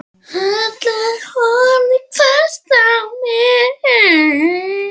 Halla horfði hvasst á mig.